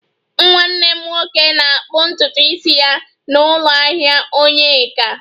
Nwanne m nwoke na-akpụ ntutu isi ya na ụlọ ahịa onyeka